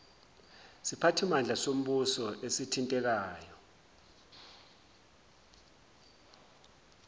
siphathimandla sombuso esithintekayo